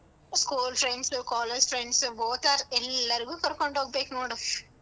School friends, college friends both are ಎಲ್ಲರಿಗೂ ಕರ್ಕೊಂಡ್ಹೋಗ್ಬೇಕ್ ನೋಡು.